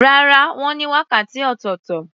Rárá, wọ́n ní wákàtí ọ̀tọ̀tọ̀.